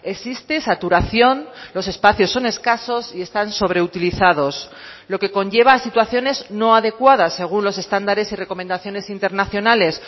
existe saturación los espacios son escasos y están sobreutilizados lo que conlleva a situaciones no adecuadas según los estándares y recomendaciones internacionales